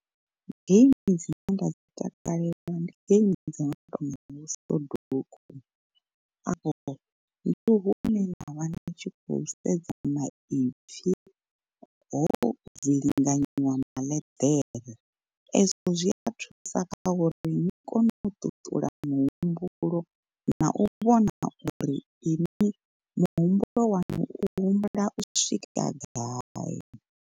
Game dzine nda dzi takalela ndi game dzo no tonga vho soduku, afho ndi hune nda vha ndi tshi khou sedza maipfi ho vilinganyiwa maḽeḓere. Ezwo zwi a thusa kha uri ni kone u ṱuṱula muhumbulo na u vhona uri iṅwi muhumbulo waṋu u humbula u swika gai.